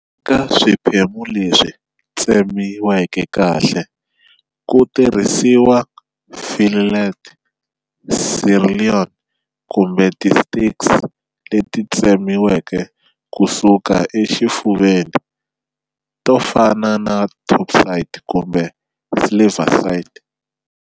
Eka swiphemu leswi tsemiweke kahle, ku tirhisiwa fillet, sirloin, kumbe ti steaks leti tsemiweke kusuka exifuveni, tofana na topside kumbe silverside.